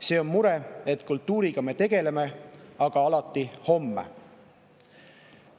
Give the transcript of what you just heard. See on mure, et kultuuriga me küll tegeleme, aga alati homme.